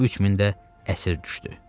3000 də əsir düşdü.